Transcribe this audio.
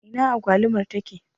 Ina agwalumar take?